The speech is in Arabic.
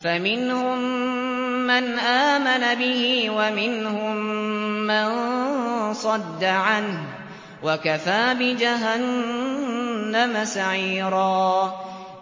فَمِنْهُم مَّنْ آمَنَ بِهِ وَمِنْهُم مَّن صَدَّ عَنْهُ ۚ وَكَفَىٰ بِجَهَنَّمَ سَعِيرًا